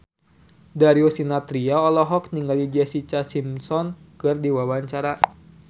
Darius Sinathrya olohok ningali Jessica Simpson keur diwawancara